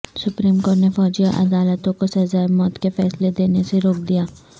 supreme court نے فوجی عدالتوں کو سزائے موت کے فیصلے دینے سے روک دیا